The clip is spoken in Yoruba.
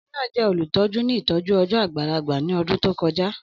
Ọkunrin naa jẹ olutọju ni itọju ọjọ agbalagba ni ọdun to koja.